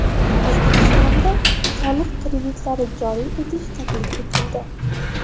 O‘zbekistonda soliq kreditlari joriy etish taklif etildi.